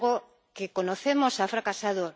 El diálogo que conocemos ha fracasado.